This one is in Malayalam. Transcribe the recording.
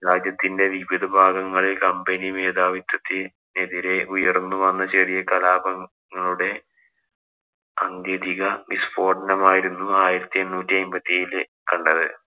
രാജ്യത്തിന്‍റെ വിവിധ ഭാഗങ്ങളില്‍ company മേധാവിത്വത്തിനെതിരെ ഉയര്‍ന്നു വന്ന ചെറിയ കലാപങ്ങളുടെ വിസ്ഫോടനമായിരുന്നു ആയിരത്തി എണ്ണൂറ്റി അയ്മ്പത്തിയേഴില് കണ്ടത്.